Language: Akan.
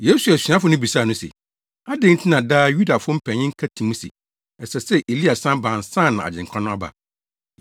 Yesu asuafo no bisaa no se, “Adɛn nti na daa Yudafo mpanyin ka ti mu se, ɛsɛ sɛ Elia san ba ansa na Agyenkwa no aba?”